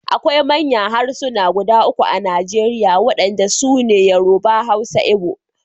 Akwai manya harsuna guda uku a Najeriya wadanda su ne Yoruba, Hausa Igbo.